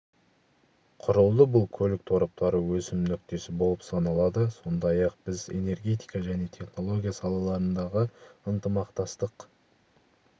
құрылды бұл көлік тораптары өсім нүктесі болып саналады сондай-ақ біз энергетика және технология салаларындағы ынтымақтастық